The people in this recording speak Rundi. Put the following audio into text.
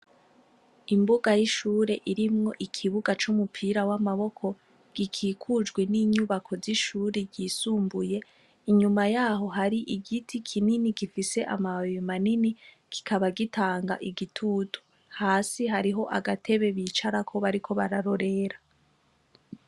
Imbuga y’ishure irimwo ikibuga c’umupira w’amaboko gikikujwe n’inyubako z’ishure ryisumbuye inyuma yaho hari igiti kinini gifise amababi manini kikaba gitanga igitutu, hasi hariho agatebe bicarako bariko bararorera.